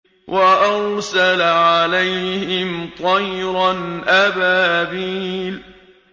وَأَرْسَلَ عَلَيْهِمْ طَيْرًا أَبَابِيلَ